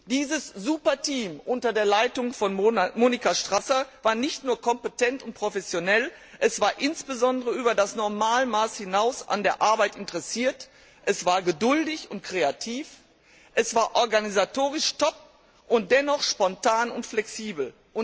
Dieses Superteam unter der Leitung von Monika Strasser war nicht nur kompetent und professionell, es war insbesondere über das Normalmaß hinaus an der Arbeit interessiert, es war geduldig und kreativ, es war organisatorisch top und dennoch spontan und flexibel.